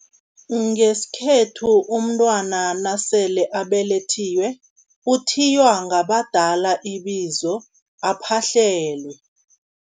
Ngesikhethu umntwana nasele abelethiwe, uthiywa ngabadala ibizo aphahlelwe.